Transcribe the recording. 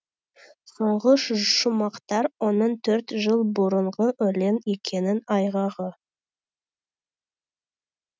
соңғы шумақтар оның төрт жыл бұрынғы өлең екенінің айғағы